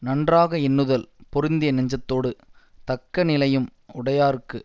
நன்றாக எண்ணுதல் பொருந்திய நெஞ்சத்தோடு தக்க நிலையும் உடையார்க்கு